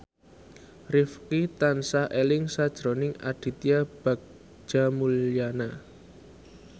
Rifqi tansah eling sakjroning Aditya Bagja Mulyana